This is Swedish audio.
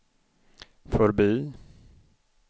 förbi